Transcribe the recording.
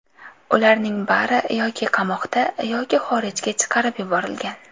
Ularning bari yoki qamoqda, yoki xorijga chiqarib yuborilgan.